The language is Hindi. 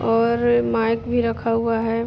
और माईक भी रखा हुआ है।